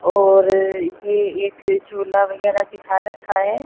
और ये एक झूला वगेरा दिखा रखा है।